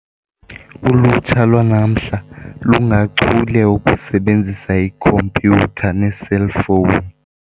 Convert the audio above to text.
Ulutsha lwanamhla lungachule okusebenzisa ikhompyutha neeselfowuni.